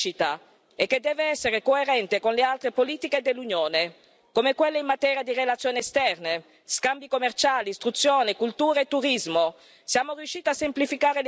Una politica che crea crescita e che deve essere coerente con le altre politiche dell'Unione, come quelle in materia di relazioni esterne, scambi commerciali, istruzione, cultura e turismo.